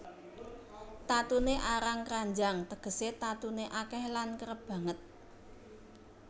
Tatuné arang kranjang tegesé tatuné akèh lan kerep banget